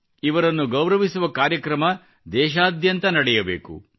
ಇವರನ್ನು ಗೌರವಿಸುವ ಕಾರ್ಯಕ್ರಮ ದೇಶಾದ್ಯಂತ ನಡೆಯಬೇಕು